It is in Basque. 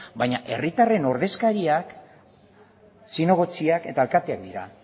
baina herritarren ordezkariak zinegotziak eta alkateak dira